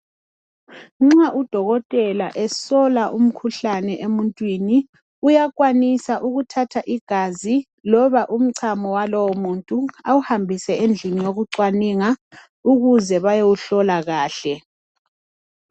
Nxa udokotela esola umkhuhlane emuntwini uyakwanisa ukuthatha igazi loba umcamo walowomuntu awuhambise endlini yokucwaninga ukuze bayowuhlola kahle